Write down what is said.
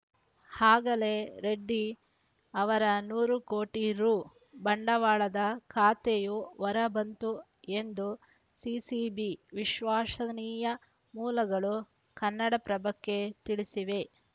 ಆಗಲೇ ರೆಡ್ಡಿ ಅವರ ನೂರು ಕೋಟಿ ರು ಬಂಡವಾಳದ ಕತೆಯೂ ಹೊರಬಂತು ಎಂದು ಸಿಸಿಬಿ ವಿಶ್ವಸನೀಯ ಮೂಲಗಳು ಕನ್ನಡಪ್ರಭಕ್ಕೆ ತಿಳಿಸಿವೆ